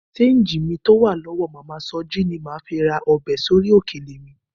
Ṣéńjì mi tó wà lọ́dọ̀ màmá Sọjí ni màá fi ra ọbẹ̀ sórí òkèlè mi